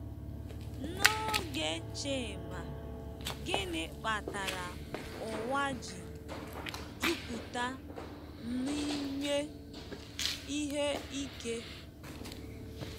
N'oge Chima, gịnị kpatara ụwa ji 'jupụta n'ime ihe ike'?